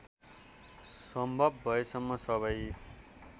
सम्भव भएसम्म सबै